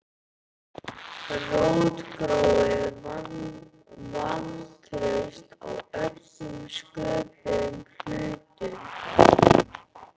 Rótgróið vantraust á öllum sköpuðum hlutum.